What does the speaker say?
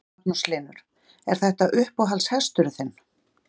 Magnús Hlynur: Er þetta uppáhalds hesturinn þinn?